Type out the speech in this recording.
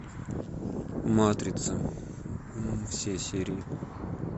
матрица все серии